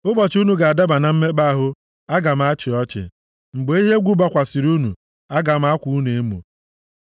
ụbọchị unu ga-adaba na mmekpa ahụ, aga m achị ọchị. Mgbe ihe egwu bịakwasịrị unu, aga m akwa unu emo.